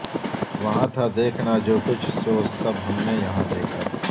وہاں تھا دیکھنا جو کچھ سو سب ہم نے یہاں دیکھا